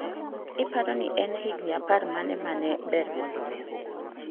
Iparo ni en higni apar mane ma ne ber moloyo?